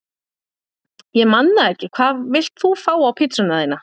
Ég man það ekki Hvað vilt þú fá á pizzuna þína?